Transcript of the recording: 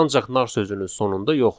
Ancaq nar sözünün sonunda yoxdur.